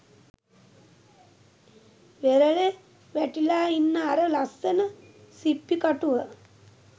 වෙරළෙ වැටිලා ඉන්න අර ලස්සන සිප්පි කටුව